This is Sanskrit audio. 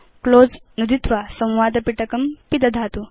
क्लोज़ नुदित्वा संवादपिटकं पिदधातु